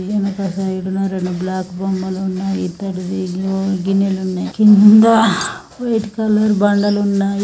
ఎనక సైడ్ న రెండు బ్లాక్ బొమ్మలు ఉన్నాయి. ఇత్తడి ఎన్నో గిన్నెలు ఉన్నాయ్. కింద వైట్ కలర్ బండలున్నాయి.